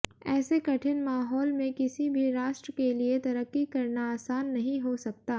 ऐसे कठिन माहौल में किसी भी राष्ट्र के लिए तरक्की करना आसान नहीं हो सकता